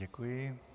Děkuji.